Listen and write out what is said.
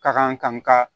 Ka kan ka n ka